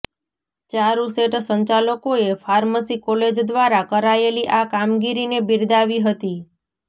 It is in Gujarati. ચારૂસેટ સંચાલકોએ ફાર્મસી કોલેજ દ્વારા કરાયેલી આ કામગીરીને બિરદાવી હતી